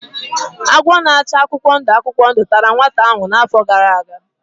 Agwọ na-acha akwụkwọ ndụ akwụkwọ ndụ tara nwata ahụ n'afọ gara aga.